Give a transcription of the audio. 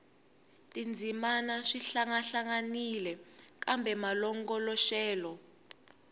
tindzimana swi hlangahlanganile kambe malongoloxelo